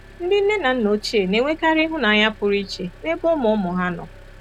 Ndị nne na nna ochie na-enwekarị ịhụnanya pụrụ iche n'ebe ụmụ-ụmụ ha nọ.